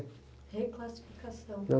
Reclassificação.